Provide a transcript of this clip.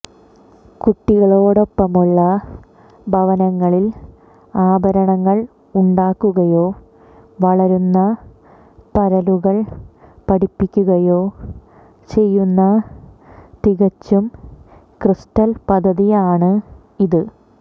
കുട്ടികളോടൊപ്പമുള്ള ഭവനങ്ങളിൽ ആഭരണങ്ങൾ ഉണ്ടാക്കുകയോ വളരുന്ന പരലുകൾ പഠിപ്പിക്കുകയോ ചെയ്യുന്ന തികച്ചും ക്രിസ്റ്റൽ പദ്ധതിയാണ് ഇത്